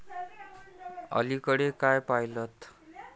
अलीकडे काय पाहिलंत?